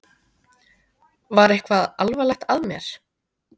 Var eitthvað alvarlegt að mér?